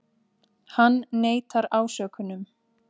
Hann neitar ásökunum